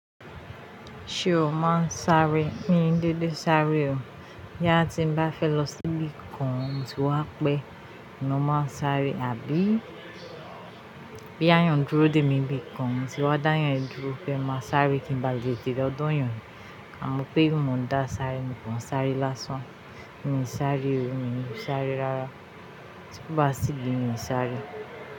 Ṣé o máa sáré mi dédé sáré. Boyà ti ń bá fẹ́ lọ sí ibi kan, mo ti wá pẹ́, ma máa ń sáré, àbí? Bí yan duru dé mi ibi kan, mo tí wa dá yan dúró, fẹ́ máa sáré kí ń ba lè tètè dán yàn, àmọ́ pé kí n máa dá sáré, mo kàn sáré lásán. Ní sáré o, ní sáré rárá, tí kò bá sí idi mì sáré.